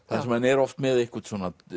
þar sem hann er með eitthvað